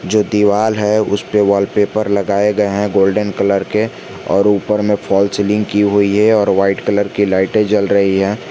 जो दीवाल है उस पे वॉलपेपर लगाए गए हैं गोल्डन कलर के और ऊपर में फॉल सीलिंग की हुई है और व्हाइट कलर के लाइटें जल रही हैं।